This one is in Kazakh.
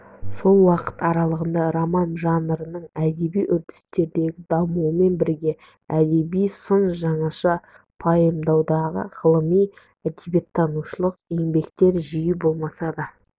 сол уақыт аралығында роман жанрының әдеби үрдістегі дамуымен бірге әдеби-сын жаңаша пайымдаудағы ғылыми әдебиеттанушылық еңбектер жиі болмаса да